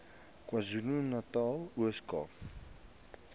kwazulunatal ooskaap